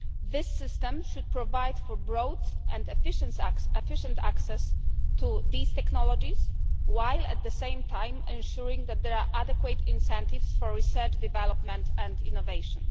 This system should provide for growth and efficient access to these technologies while at the same time ensuring that there are adequate incentives for research, development and innovation.